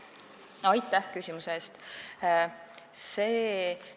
Aitäh küsimuse eest!